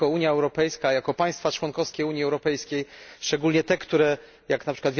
My jako Unia Europejska, jako państwa członkowskie Unii Europejskiej, szczególnie te, które, jak np.